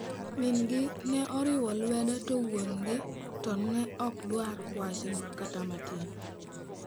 Min gi ne oriwe lwedo, to wuon gi to ne ok dwar wachno kata matin.